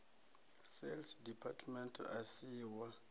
sales department a si wa